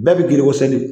Bɛɛ bi giri o seri